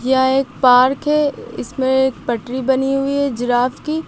यह एक पार्क है इसमें पटरी बनी हुई हैं जिराफ की।